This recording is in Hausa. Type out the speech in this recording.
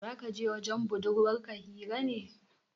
Za kaje wajen budurwar ka hira ne